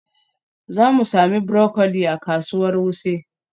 Za mu sami broccoli a kasuwar Wuse.